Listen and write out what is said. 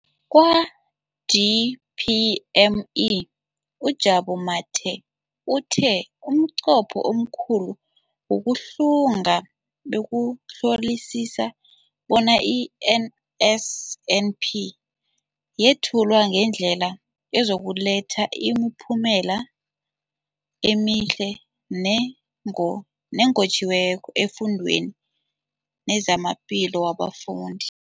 Kwa-DPME, uJabu Mathe, uthe umnqopho omkhulu wokuhlunga bekukuhlolisisa bona i-NSNP yethulwa ngendlela ezokuletha imiphumela emihle nenqotjhiweko efundweni nezamaphilo wabafundi.